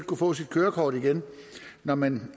kunne få sit kørekort igen når man